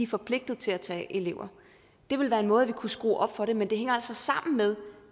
forpligtet til at tage elever det ville være en måde vi kunne skrue op for det på men det hænger altså sammen med